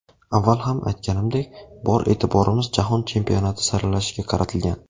Avval ham aytganimdek, bor e’tiborimiz Jahon Chempionati saralashiga qaratilgan.